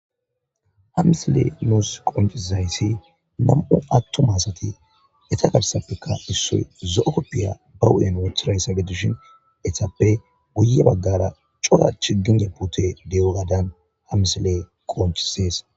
hamisile nuus qomfizayssi nam7u attomasati eta garsappeka issoy zo7o koppiya ba wu7en wothirayssabedushin etappe guye baggara cora chigin geppute dewogadan hamisilee qoonchisees